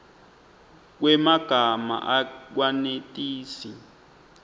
kwemagama akwenetisi